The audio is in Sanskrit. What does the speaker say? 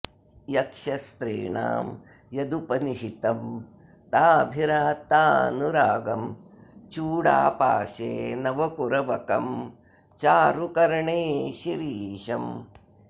यक्षस्त्रीणां यदुपनिहितं ताभिरात्तानुरागं चूडापाशे नवकुरबकं चारु कर्णे शिरीषम्